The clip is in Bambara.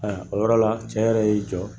Ayiwa, o yɔrɔ la, cɛ yɛrɛ y'i jɔ